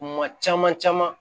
Kuma caman caman